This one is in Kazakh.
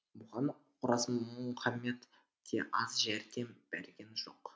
бұған оразмұхаммед те аз жәрдем берген жоқ